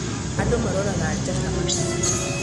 Andũ maroraga njata matu-inĩ.